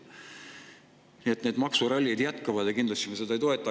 Nii et maksuralli jätkub ja me seda kindlasti ei toeta.